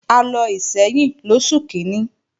A lọ Ìṣẹ́yìn lóṣù kíní